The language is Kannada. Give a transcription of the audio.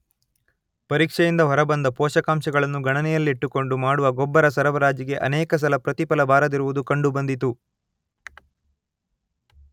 ಪರೀಕ್ಷೆಯಿಂದ ಹೊರಬಂದ ಪೋಷಕಾಂಶಗಳನ್ನು ಗಣನೆಯಲ್ಲಿಟ್ಟುಕೊಂಡು ಮಾಡುವ ಗೊಬ್ಬರಸರಬರಾಜಿಗೆ ಅನೇಕ ಸಲ ಪ್ರತಿಫಲ ಬಾರದಿರುವುದು ಕಂಡು ಬಂದಿತು.